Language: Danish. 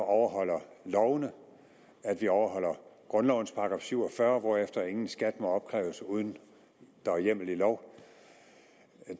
overholder lovene at vi overholder grundlovens § syv og fyrre hvorefter ingen skat må opkræves uden at der er hjemmel i lov